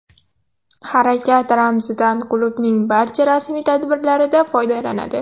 Harakat ramzidan klubning barcha rasmiy tadbirlarida foydalanadi.